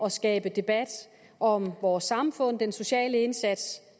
at skabe debat om vores samfund den sociale indsats